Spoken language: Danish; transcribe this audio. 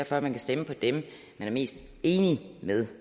for at man kan stemme på dem man er mest enig med